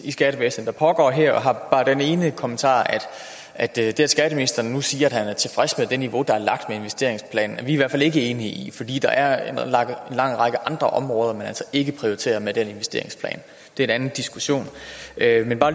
i skattevæsenet der pågår her og jeg har bare den ene kommentar at det skatteministeren nu siger i det niveau der er lagt med investeringsplanen er vi i hvert fald ikke enige i for der er en lang række andre områder man altså ikke prioriterer med den investeringsplan det er en anden diskussion jeg vil bare